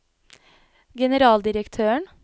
generaldirektøren